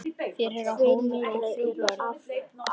Fyrir á Halldór þrjú börn.